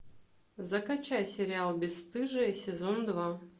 закачай сериал бесстыжие сезон два